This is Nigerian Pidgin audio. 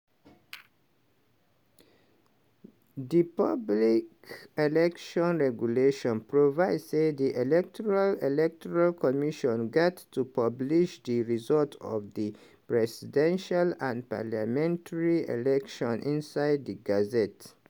di public elections regulation provide say di electoral electoral commission gat to publish di results of di presidential and parliamentary elections inside di gazette.